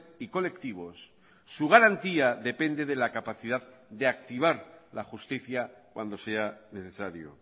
y colectivos su garantía depende de la capacidad de activar la justicia cuando sea necesario